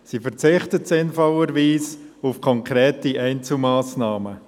Sie verzichtet sinnvollerweise auf konkrete Einzelmassnahmen.